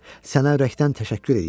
Sənə ürəkdən təşəkkür eləyirəm.